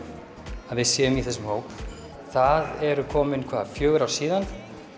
að við séum í þessum hóp það eru komin hvað fjögur ár síðan